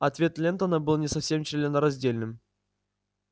ответ лентона был не совсем членораздельным